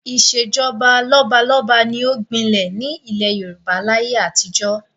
Ìṣèjọba lọ́balọ́ba ni ó gbinlẹ̀ ní ilẹ̀ Yorùbá láyé àtijọ́